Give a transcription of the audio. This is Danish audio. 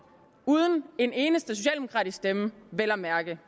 uden en eneste socialdemokratisk stemme vel at mærke